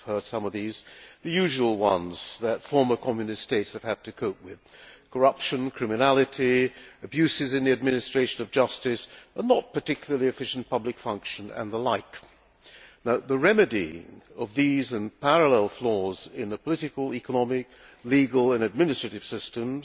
We have heard about some of these, the usual ones that former Communist states have had to cope with corruption, criminality, abuses in the administration of justice, a not particularly efficient public service, and the like. The remedying of these and parallel flaws in the political, economic, legal and administrative systems